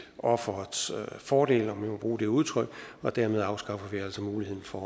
offerets fordel om jeg må bruge det udtryk og dermed afskaffer vi altså muligheden for